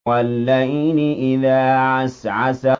وَاللَّيْلِ إِذَا عَسْعَسَ